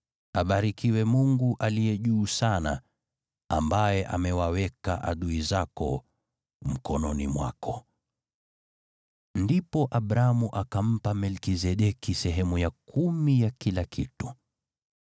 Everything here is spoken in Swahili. Abarikiwe Mungu Aliye Juu Sana, ambaye amewaweka adui zako mkononi mwako.” Ndipo Abramu akampa Melkizedeki sehemu ya kumi ya kila kitu.